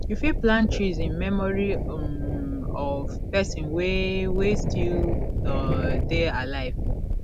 you fit plant trees in memory um of person wey wey still um dey alive